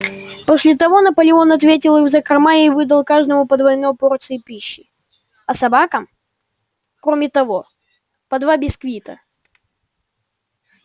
после того наполеон отвёл их в закрома и выдал каждому по двойной порции пищи а собакам кроме того по два бисквита